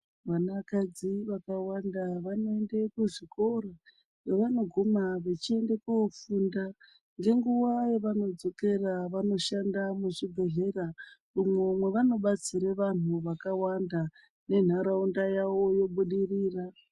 Vanakadzi vakawanda vanoende kuzvikoro kwevanoguma vechiende kofunda. Ngenguva yavanodzokera vanoshanda muzvibhedhlera umwo mwavanobatsire vantu vakawanda nentaraunda yavo yobudirira.